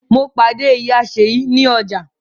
Mo pàdé ìyá Ṣeyi ní ọjà